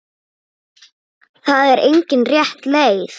Það er engin rétt leið.